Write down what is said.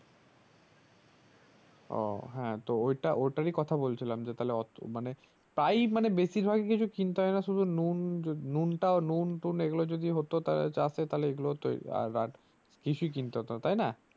ও হ্যাঁ তো ঐটা ওই টারি কথা বলছিলাম যে তাহলে এতো মানে প্রায় মানে বেশিরভাগ কিছু কিনতে হয়না শুধু নুন যদি নুনটাও নুন টুন্ এগুলো যদি হতো তাহলে চাষে তাহলে তো আ আর লিংকে হতোনা তাই না